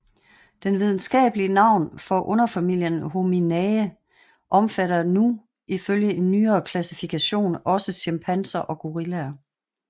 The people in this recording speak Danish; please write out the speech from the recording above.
Det videnskabelige navn for underfamilien Homininae omfatter nu ifølge en nyere klassifikation også chimpanser og gorillaer